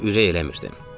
Amma ürək eləmirdim.